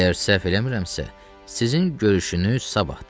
Əgər səhv eləmirəmsə, sizin görüşünüz sabahdır.